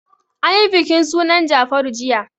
An yi bikin sunan Jafaru jiya.